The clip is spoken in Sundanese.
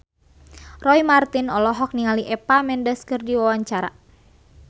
Roy Marten olohok ningali Eva Mendes keur diwawancara